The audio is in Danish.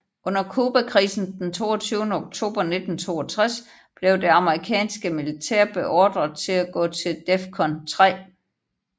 Under Cubakrisen den 22 oktober 1962 blev det amerikanske militær beordret til at gå til DEFCON 3